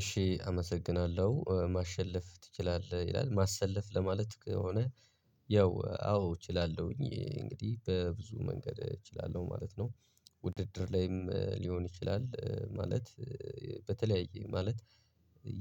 እሺ አመሰግናለሁ ማሸለፍ ትችላለህ ይላል ማሰለፍ ለማለት ከሆነ ያው አዎ እችላለሁኝ እንግዲህ በብዙ መንገድ እችላለሁ ማለት ነው። ውድድር ላይም ሊሆን ይችላል ማለት በተለያየ ማለት